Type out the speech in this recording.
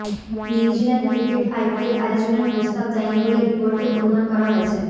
New Zealand cricket IPL আয়োজনের প্রস্তাব দেয়নি বলে রিপোর্টে অনুমান করা হয়েছে